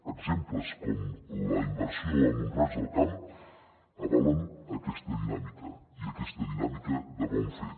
exemples com la inversió a mont roig del camp avalen aquesta dinàmica i aquesta dinàmica de bon fer